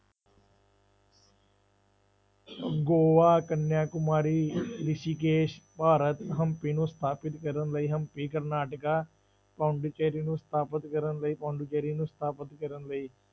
ਗੋਆ, ਕੰਨਿਆ ਕੁਮਾਰੀ ਰਿਸੀਕੇਸ਼, ਭਾਰਤ ਹੰਪੀ ਨੂੰ ਸਥਾਪਿਤ ਕਰਨ ਲਈ ਹੰਪੀ ਕਰਨਾਟਕਾ, ਪੋਂਡੀਚਰੀ ਨੂੰ ਸਥਾਪਿਤ ਕਰਨ ਲਈ ਪੋਂਡੀਚਰੀ ਨੂੰ ਸਥਾਪਿਤ ਕਰਨ ਲਈ,